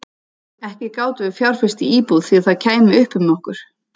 Ekki gátum við fjárfest í íbúð því það kæmi upp um okkur.